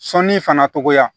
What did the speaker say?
Sɔnni fana togoya